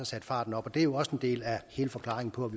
sat farten op det er jo også en del af hele forklaringen på